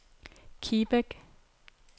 Kibæk